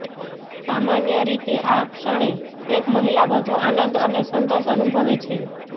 સામાન્ય રીતે આ ક્ષણે એક મહિલા વધુ આનંદ અને સંતોષ અનુભવે છે